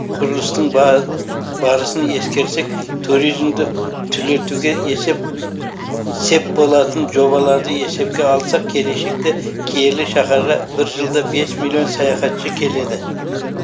құрылыстың барысын ескерсек туризмді түлетуге есеп сеп болатын жобаларды есепке алсақ келешекте киелі шаһарға бір жылда бес миллион саяхатшы келеді